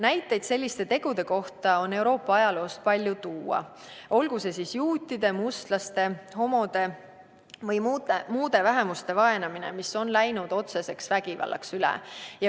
Näiteid selliste tegude kohta on Euroopa ajaloost leida palju, olgu tegemist siis juutide, mustlaste, homode või muude vähemuste vaenamisega, mis on läinud üle otseseks vägivallaks.